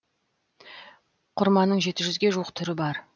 құрманың жеті жүзге жуық түрі бар